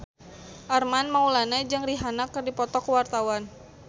Armand Maulana jeung Rihanna keur dipoto ku wartawan